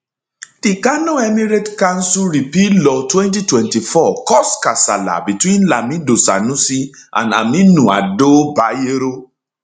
di kano emirates council repeal law 2024 cause kasala betweenlamido sanusiand aminu ado bayero